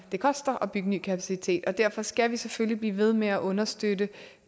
det koster at bygge ny kapacitet og derfor skal vi selvfølgelig blive ved med at understøtte